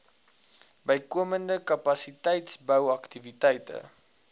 bykomende kapasiteitsbou aktiwiteite